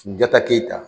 Jɔta keyita